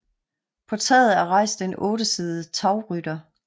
På taget er rejst en ottesidet tagrytter